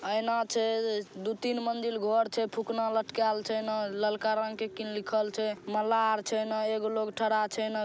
आइना छे दू-तिन मंजिल घर छे फुखना लटकाएल छे ना ललका रंग के किन लिखल छे मलार छें ना एक लोग खड़ा छे ना --